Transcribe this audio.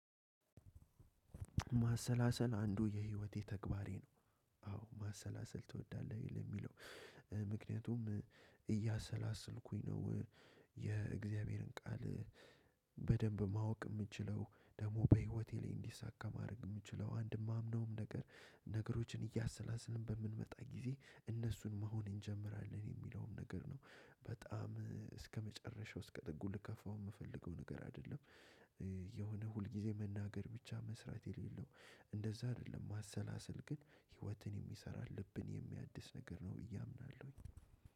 ማሰላሰል አንዱ የህይወቴ ተግባሬ ነው። አዎ ማሰላሰል ትወዳለህ የሚለው? ምክንያቱም እያሰላሰልኩኝ ነው። የእግዚአብሔርን ቃል በደንብ ማወቅ የምችለው ደግሞ በህይወቴ ላይ እንዲሳካ ማድረግ የምችለው አንድም አምነውም ነገር። ነገሮችን እያሰላሰልን በምንመጣ ጊዜ እነሱን መሆን እንጀምራለን የሚለውም ነገር ነው። በጣም እስከመጨረሻው እስከ ጥጉ ልገፋው የምፈልገው ነገር አይደለም። የሆነ ሁልጊዜ መናገር ብቻ መስራት የሌለው እንደዛ አይደለም። ማሰላሰል ግን ህይወትን የሚሰራ ልብን የሚያድስ ነገር ነው ብዬ አምናለሁኝ።